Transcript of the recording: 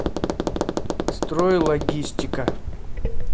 стройлогистика